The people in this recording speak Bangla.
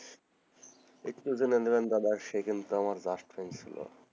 একটু জেনে নিলাম দাদা সে কিন্তু আমার ক্লাস friend ছিলো,